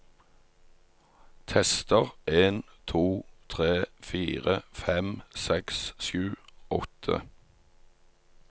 Tester en to tre fire fem seks sju åtte